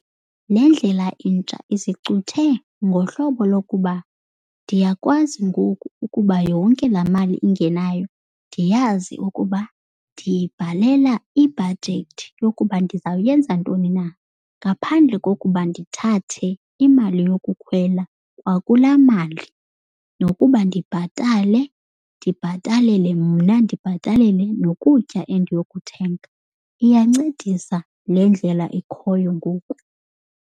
Le ndlela intsha izicuthe ngohlobo lokuba ndiyakwazi ngoku ukuba yonke laa mali ingenayo ndiyazi ukuba ndiyibhalela ibhajethi yokuba ndizawuyenza ntoni na ngaphandle kokuba ndithathe imali yokukhwela kwakulaa mali nokuba ndibhatale, ndibhatalele mna, ndibhatalele nokutya endiyokuthenga. Iyancedisa le ndlela ikhoyo ngoku.